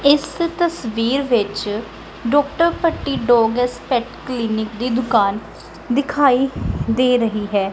ਇਸ ਤਸਵੀਰ ਵਿੱਚ doctor Bhatti dogs fact clinic ਦੀ ਦੁਕਾਨ ਦਿਖਾਈ ਦੇ ਰਹੀ ਹੈ।